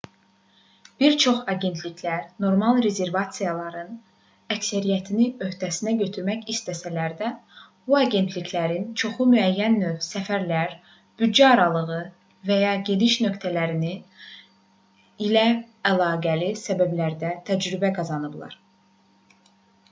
bir çox agentliklər normal rezervasiyaların əksəriyyətini öhdəsinə götürmək istəsələr də bu agentliklərin çoxu müəyyən növ səfərlər büdcə aralığı və ya gediş nöqtələri ilə əlaqəli məsələlərdə təcrübə qazanıblar